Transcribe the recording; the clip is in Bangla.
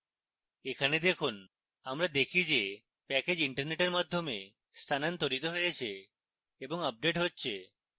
এখানে দেখুন আমরা দেখি যে প্যাকেজ internet মাধ্যমে স্থানান্তরিত হচ্ছে এবং আপডেট হচ্ছে